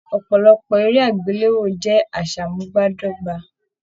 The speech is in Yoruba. Ọpọlọpọ eré agbelewo jẹ aṣamubadọgba.